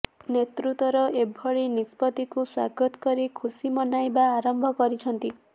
ନେତୃତ୍ୱର ଏଭଳି ନିଷ୍ପତ୍ତିକୁ ସ୍ୱାଗତ କରି ଖୁସି ମନାଇବା ଆରମ୍ଭ କରିଛନ୍ତି